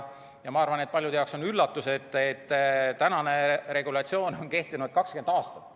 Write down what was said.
Ma arvan, et paljude jaoks on üllatus, et tänane regulatsioon on kehtinud 20 aastat.